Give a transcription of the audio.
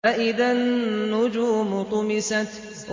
فَإِذَا النُّجُومُ طُمِسَتْ